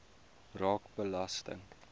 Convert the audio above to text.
raak belasting